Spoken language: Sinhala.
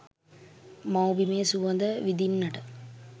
මව්බිමේ සුවද විදින්නට